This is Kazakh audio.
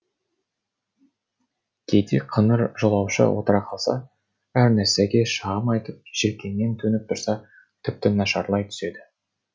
кейде қыңыр жолаушы отыра қалса әр нәрсеге шағым айтып желкеңнен төніп тұрса тіпті нашарлай түседі